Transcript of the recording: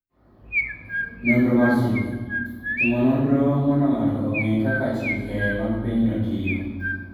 Nonro mar Chike: Timo nonro mondo ng'ato ong'e kaka chike mag pinyno tiyo.